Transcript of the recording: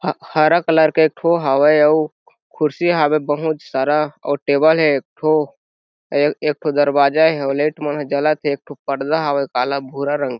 ह हरा कलर एक ठो हावे अउ कुर्सी हावे बहुत सारा और टेबल हे एक ठो अये एक ठो दरवाजा हे अउ लाइट मनह जलत हे एक ठो पर्दा हावे काला भूरा रंग के --